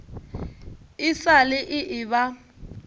e sa le e eba